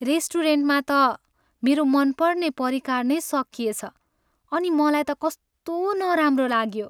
रेस्टुरेन्टमा त मेरो मनपर्ने परिकार नै सकिएछ अनि मलाई त कस्तो नराम्रो लाग्यो।